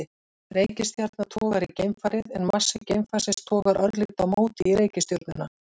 Reikistjarna togar í geimfarið en massi geimfarsins togar örlítið á móti í reikistjörnuna.